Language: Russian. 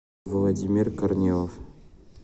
владимир корнилов